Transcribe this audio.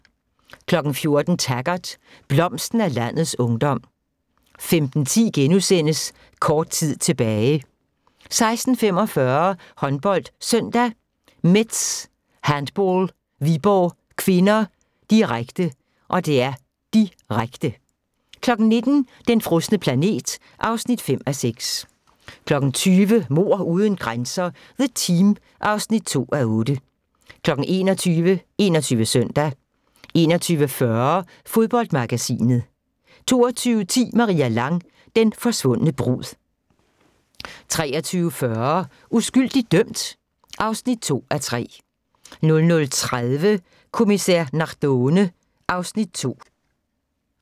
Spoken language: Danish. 14:00: Taggart: Blomsten af landets ungdom 15:10: Kort tid tilbage * 16:45: HåndboldSøndag: Metz Handball-Viborg (k), direkte, direkte 19:00: Den frosne planet (5:6) 20:00: Mord uden grænser – The Team (2:8) 21:00: 21 Søndag 21:40: Fodboldmagasinet 22:10: Maria Lang: Den forsvundne brud 23:40: Uskyldigt dømt? (2:3) 00:30: Kommissær Nardone (Afs. 2)